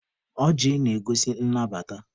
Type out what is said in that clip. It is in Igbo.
Ọjị na-egosi nnabata.